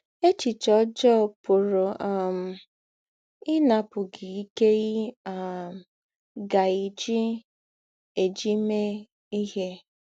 Èchìchè ọ́jọọ pụ̀rù́ um ínàpụ̀ gị íké ì um gà - èjí - èjí mè ìhè.